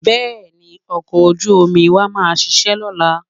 Bẹ́ẹ̀ni, ọkọ̀ ojú-omi wa máa ṣiṣẹ́ lọ́la